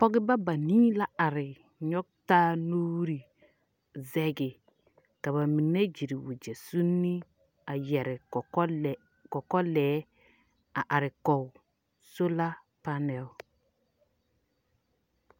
Pɔgeba banii la are nyɔge taa nuuri zɛge. Ka ba mine gyere wagyɛ suuni a yɛre kɔkɔ lɛ.. kɔkɔlɛɛ a are kɔge sola panɛl.